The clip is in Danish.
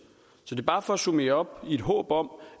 så det er bare for at summere op i et håb om